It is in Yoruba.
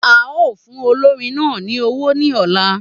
A o fún olórin náà ní owó ní ọ̀la